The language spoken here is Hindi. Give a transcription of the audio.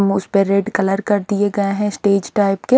पे रेड कलर का दिए गए है स्टेज टाइप के।